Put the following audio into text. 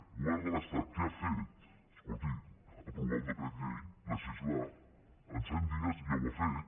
el govern de l’estat què ha fet escolti aprovar un decret llei legislar en cent dies ja ho ha fet